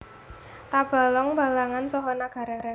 Tabalong Balangan saha Nagara